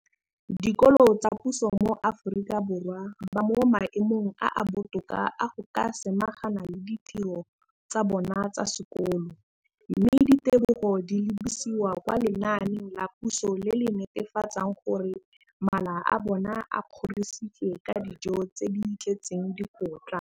Dikolo tsa puso mo Aforika Borwa ba mo maemong a a botoka a go ka samagana le ditiro tsa bona tsa sekolo, mme ditebogo di lebisiwa kwa lenaaneng la puso le le netefatsang gore mala a bona a kgorisitswe ka dijo tse di tletseng dikotla.